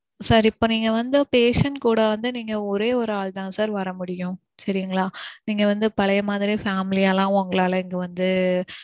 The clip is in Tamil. sir இப்போ நீங்க வந்து patient கூட வந்து நீங்க ஒரே ஒரு ஆள் தான் sir வர முடியும். சரிங்களா நீங்க வந்து பழைய மாதிரி family யாலாம் உங்களால இங்க வந்து